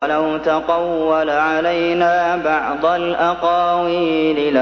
وَلَوْ تَقَوَّلَ عَلَيْنَا بَعْضَ الْأَقَاوِيلِ